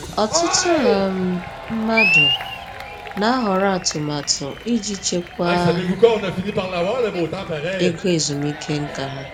Ọtụtụ um mmadụ na-ahọrọ atụmatụ iji chekwaa ego ezumike nká ha.